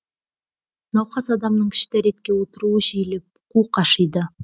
науқас адамның кіші дәретке отыруы жиілеп қуық ашиды